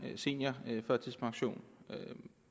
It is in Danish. om seniorførtidspension